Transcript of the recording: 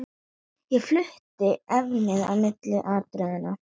Ég flutti efnið á milli atriða.